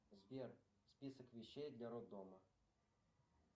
сбер список вещей для роддома